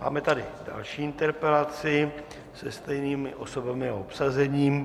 Máme tady další interpelaci se stejnými osobami a obsazením.